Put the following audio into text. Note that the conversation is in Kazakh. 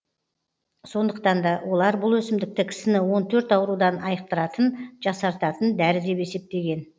сондықтан да олар бұл өсімдікті кісіні он төрт аурудан айықтыратын жасартатын дәрі деп есептеген